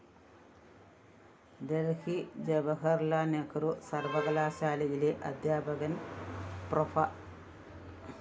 ദല്‍ഹി ജവഹര്‍ലാല്‍ നെഹ്രു സര്‍വ്വകലാശാലയിലെ അധ്യാപകന്‍ പ്രോഫ്‌